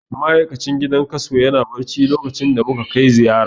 Ma'aikacin gidan kaso yana barci lokacin da muka kai ziyara.